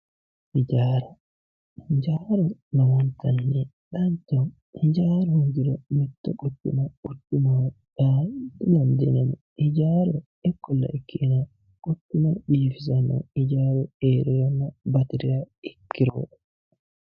hijaara hijaaru lowontanni danchaho hijaaru hoogiru mitto quchuma quchumaho yaa didandiinanni hijaaru ikkolla ikkina quchuma biifisanno hijaaru heerihanna batiriha ikkiro.